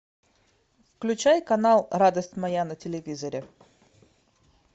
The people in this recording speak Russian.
включай канал радость моя на телевизоре